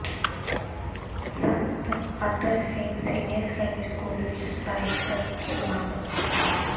ਸੰਤ Atar Singh senior secondary school ਵਿੱਚ ਸਾਹਿਤਕ ਸਮਾਗਮ